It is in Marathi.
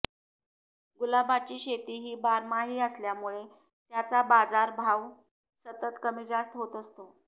गुलाबाची शेतीही बारमाही असल्यामुळे त्याचा बाजारभाव सतत कमी जास्त होत असतो